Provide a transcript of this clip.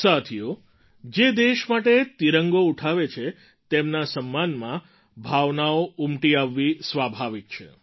સાથીઓ જે દેશ માટે તિરંગો ઉઠાવે છે તેમના સમ્માનમાં ભાવનાઓ ઉમટી આવવી સ્વાભાવિક છે